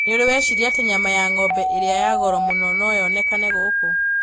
Nĩ ũrĩ wecirĩria atĩ nyama ya ng'ombe ĩrĩa ya goro mũno no yonekane gũkũ?